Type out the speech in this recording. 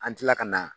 An tila ka na